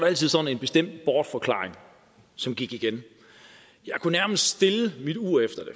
altid sådan en bestemt bortforklaring som gik igen jeg kunne nærmest stille mit ur efter